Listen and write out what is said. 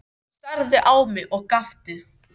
Hann starði á mig og gapti.